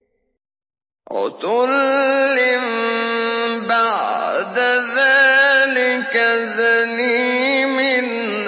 عُتُلٍّ بَعْدَ ذَٰلِكَ زَنِيمٍ